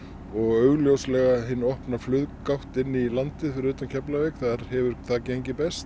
og augljóslega hin opna inn í landið fyrir utan Keflavík þar hefur það gengið best